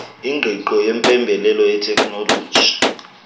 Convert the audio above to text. ingqiqo yempembelelo yeteknoloji